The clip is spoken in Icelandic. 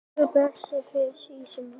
Guð blessi þig Sísí mín.